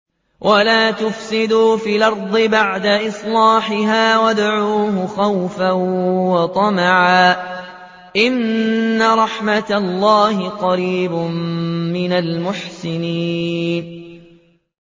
وَلَا تُفْسِدُوا فِي الْأَرْضِ بَعْدَ إِصْلَاحِهَا وَادْعُوهُ خَوْفًا وَطَمَعًا ۚ إِنَّ رَحْمَتَ اللَّهِ قَرِيبٌ مِّنَ الْمُحْسِنِينَ